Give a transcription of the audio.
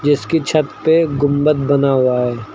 इसकी छत पे गुंबद बना हुआ है।